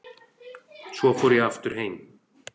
Svo fór ég aftur heim.